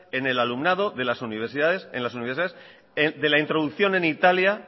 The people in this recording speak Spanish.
en el alumnado en las universidades de la introducción en italia